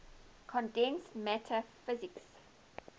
condensed matter physics